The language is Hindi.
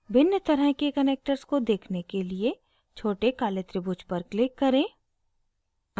भिन्न तरह के connectors को देखने के लिए छोटे काले त्रिभुज पर click करें